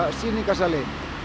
sýningarsali